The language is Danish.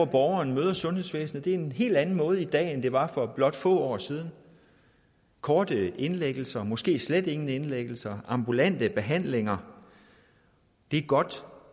borgeren møder sundhedsvæsenet på er en helt anden måde i dag end det var for blot få år siden korte indlæggelser måske slet ingen indlæggelser ambulante behandlinger det er godt